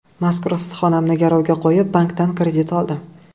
Mazkur issiqxonamni garovga qo‘yib, bankdan kredit oldim.